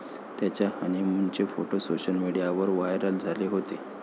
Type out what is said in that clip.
त्याच्या हनीमूनचे photo social मीडियावर व्हायरल झाले होते.